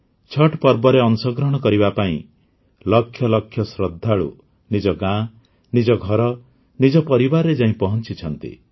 ଛଠ୍ ପର୍ବରେ ଅଂଶଗ୍ରହଣ କରିବା ପାଇଁ ଲକ୍ଷ ଲକ୍ଷ ଶ୍ରଦ୍ଧାଳୁ ନିଜ ଗାଁ ନିଜ ଘର ନିଜ ପରିବାରରେ ଯାଇ ପହଞ୍ଚିଛନ୍ତି